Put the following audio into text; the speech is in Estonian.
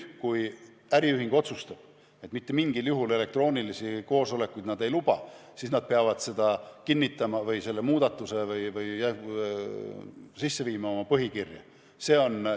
Kui äriühing otsustab, et nad mitte mingil elektroonilisi koosolekuid ei luba, siis nad peavad seda kinnitama oma põhikirjas või sinna selle muudatuse tegema.